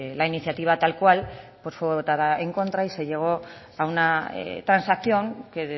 la iniciativa tal cual pues fue votada en contra y se llegó a una transacción que